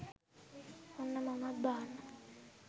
ඔන්න මමත් බාන්න